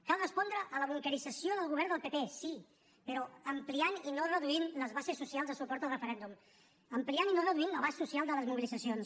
cal respondre a la bunquerització del govern del pp sí però ampliant i no reduint les bases socials de suport al referèndum ampliant i no reduint l’abast social de les mobilitzacions